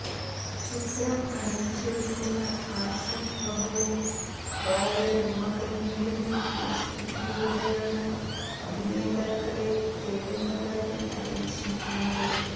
ചിത്രം അണിയിച്ചൊരുക്കുന്ന ആഷിക് അബുവും ഭാര്യ റിമ കല്ലിങ്കലും ഫെയ്സ്ബുക്കിലുടെയാണ് അഭിനേതാക്കളെ തേടുന്ന കാര്യം അറിയിച്ചിരിക്കുന്നത്